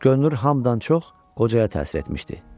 Könlünün hamdan çox qocaya təsir etmişdi.